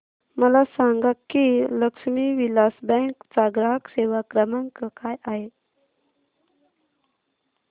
मला सांगा की लक्ष्मी विलास बँक चा ग्राहक सेवा क्रमांक काय आहे